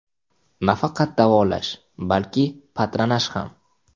Nafaqat davolash, balki patronaj ham.